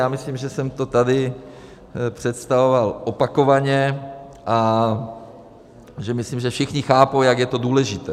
Já myslím, že jsem to tady představoval opakovaně a že myslím, že všichni chápou, jak je to důležité.